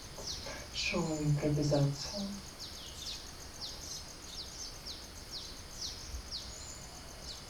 шоу импровизация